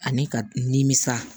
Ani ka nimisa